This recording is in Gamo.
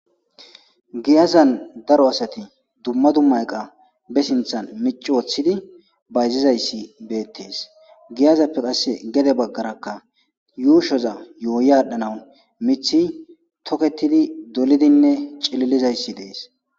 Giyazan daaro asati dumma dumma eeqqa be sinththan micci woththidi bayzizayssi bettes giiyazappe qasse gedde baggeraka yushshoza yuuyi adhdhanawu miththi tookettidi dooliddinne ciilizayssi dessi.